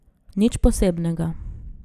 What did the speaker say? Nič posebnega.